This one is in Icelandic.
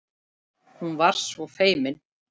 Hún var svo feimin.